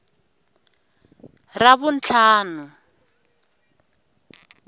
ravuntlhanu